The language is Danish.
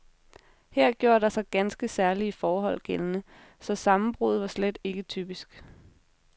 Her gjorde der sig ganske særlige forhold gældende, så sammenbruddet var slet ikke typisk.